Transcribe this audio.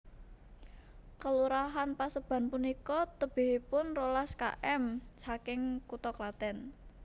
Kelurahan Paseban punika tebihipun rolas km saking kutha Klathen